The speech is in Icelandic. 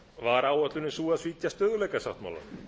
var áætlunin sú að svíkja stöðugleikasáttmálann